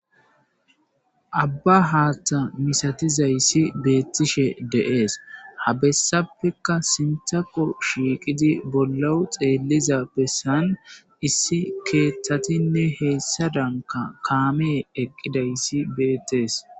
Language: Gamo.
Abba haatha misatizysi beetishe deesi,ha besappeka sinthako shiiqidi bollawu xeeliza besani issi kethatinne heysadani kaameyi eqidaysi beetesi.